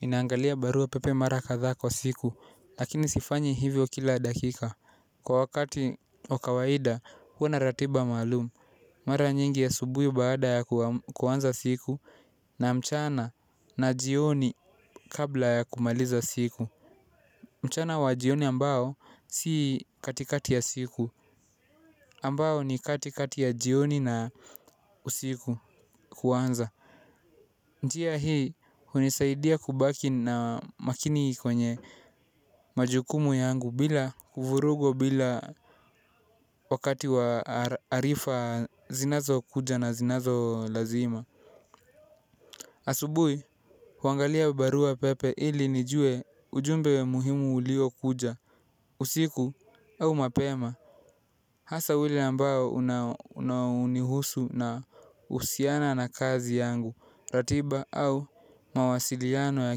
Ninaangalia barua pepe mara kadhaa kwa siku lakini sifanyi hivyo kila dakika. Kwa wakati wa kawaida huwa na ratiba maalum. Mara nyingi asubuhi baada ya kuanza siku na mchana na jioni kabla ya kumaliza siku mchana wa jioni ambao si katikati ya siku ambao ni katikati ya jioni na usiku kuanza. Njia hii hunisaidia kubaki na makini kwenye majukumu yangu bila uvurugo bila wakati wa arifa zinazokuja na zinazo lazima. Asubuhi, huangalia barua pepe ili nijue ujumbe muhimu uliokuja, usiku au mapema. Hasa ule ambao unaonihusu na uhusiana na kazi yangu, ratiba au mawasiliano ya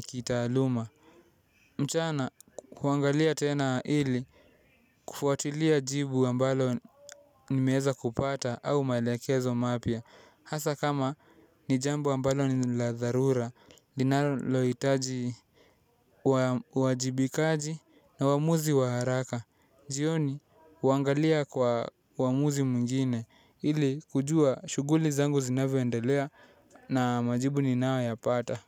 kitaaluma. Mchana kuangalia tena ili kufuatilia jibu ambalo nimeeza kupata au maelekezo mapya. Hasa kama ni jambo ambalo ni la dharura, linalohitaji uwajibikaji na waamuzi wa haraka. Jioni huangalia kwa waamuzi mwingine ili kujua shughuli zangu zinavyoendelea na majibu ninayoyapata.